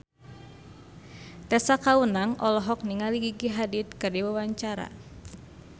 Tessa Kaunang olohok ningali Gigi Hadid keur diwawancara